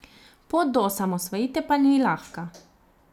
Pot do osamosvojitve pa ni lahka.